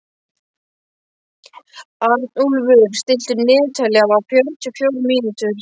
Arnúlfur, stilltu niðurteljara á fjörutíu og fjórar mínútur.